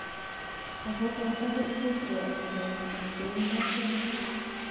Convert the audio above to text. Ako boto kerchek che yate kongik ak koundo seperik.